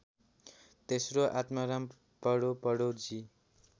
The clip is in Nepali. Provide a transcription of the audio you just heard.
तेस्रो आत्माराम पढोपढो जी